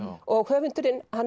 og höfundurinn hann